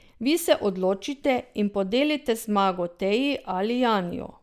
Vi se odločite in podelite zmago Teji ali Janiju.